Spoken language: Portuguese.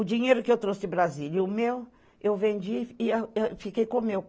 O dinheiro que eu trouxe de Brasília e o meu, eu vendi e fiquei com o meu.